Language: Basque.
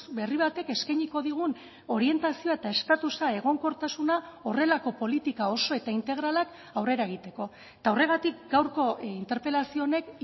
berri batek eskainiko digun orientazioa eta estatusa egonkortasuna horrelako politika oso eta integralak aurrera egiteko eta horregatik gaurko interpelazio honek